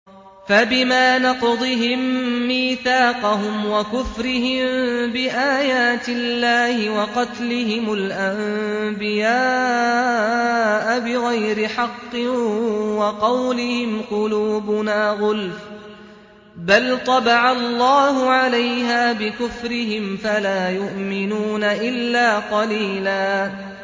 فَبِمَا نَقْضِهِم مِّيثَاقَهُمْ وَكُفْرِهِم بِآيَاتِ اللَّهِ وَقَتْلِهِمُ الْأَنبِيَاءَ بِغَيْرِ حَقٍّ وَقَوْلِهِمْ قُلُوبُنَا غُلْفٌ ۚ بَلْ طَبَعَ اللَّهُ عَلَيْهَا بِكُفْرِهِمْ فَلَا يُؤْمِنُونَ إِلَّا قَلِيلًا